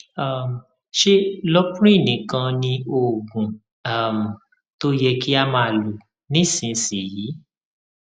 um ṣé loprin nìkan ni oògùn um tó yẹ kí o máa lò nísinsìnyí